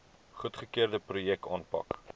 goedgekeurde projekte aanpak